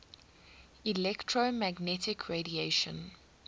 electromagnetic radiation